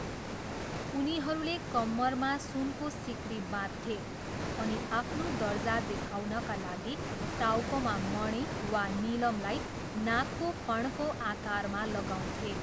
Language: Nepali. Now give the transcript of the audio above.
उनीहरूले कम्मरमा सुनको सिक्री बाँध्थे अनि आफ्नो दर्जा देखाउनका लागि टाउकोमा मणि वा नीलमलाई नागको फणको आकारमा लगाउँथे।